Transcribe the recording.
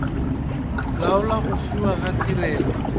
laola go fiwa ga tirelo